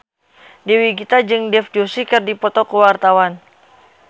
Dewi Gita jeung Dev Joshi keur dipoto ku wartawan